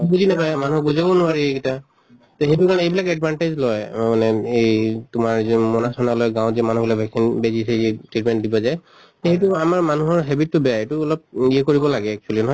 বুজি নাপায় মানিহ বুজাব নোৱাৰি এইগিটা। তে সেইটো কাৰণে এইবিলাক advantage লয় মানে এই তোমাৰ যে মোনা চোনা লৈ গাঁৱত যে মানুহ বিলাক vaccine বেজি চেজি treatment দিব যায়। সেইটো আমাৰ মানুহৰ habit তো বেয়া। এইটো অলপ য়ে কৰিব লাগে actually নহয়